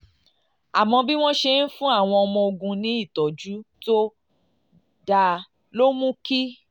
àmọ́ bí wọ́n ṣe ń fún àwọn ọmọ ogun ní ìtọ́jú tó dáa ló mú kí